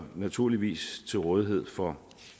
naturligvis til rådighed for